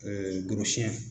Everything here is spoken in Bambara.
gorosiyɛn